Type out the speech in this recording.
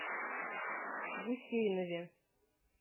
гусейнове